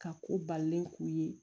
Ka ko balilen k'u ye